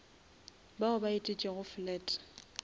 bao ba etetšego flat